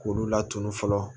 K'olu laturu fɔlɔ